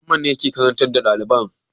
Mamman yake karantar da ɗaliban?